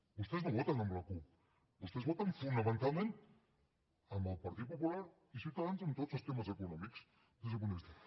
vostès no voten amb la cup vostès voten fonamen talment amb el partit popular i ciutadans en tots els temes econòmics des d’aquest punt de vista